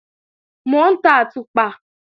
Mò ń tan àtùpà